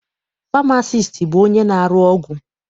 Famasiisti bụ onye na-arụ ọgwụ.